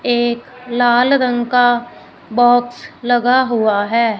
एक लाल रंग का बॉक्स लगा हुआ है।